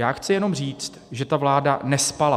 Já chci jenom říct, že ta vláda nespala.